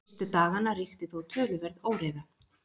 Fyrstu daganna ríkti þó töluverð óreiða.